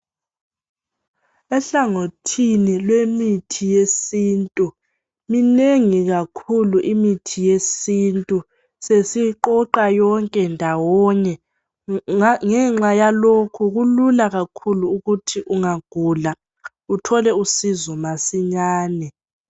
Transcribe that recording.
Ehlangothini lwemithi yesintu minengi kakhulu imithi yesintu sesiqoqa yonke ndawonye, ngenxa yalokho kulula kakhulu ukuthi ungagula uthole usizo masinyane.